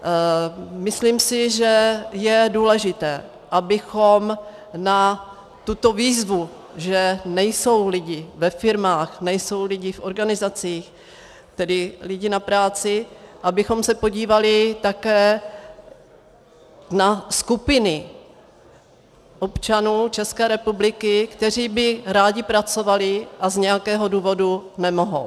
Myslím si, že je důležité, abychom na tuto výzvu, že nejsou lidi ve firmách, nejsou lidi v organizacích, tedy lidi na práci, abychom se podívali také na skupiny občanů České republiky, kteří by rádi pracovali a z nějakého důvodu nemohou.